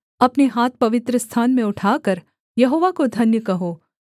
अपने हाथ पवित्रस्थान में उठाकर यहोवा को धन्य कहो